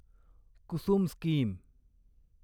Kusum scheme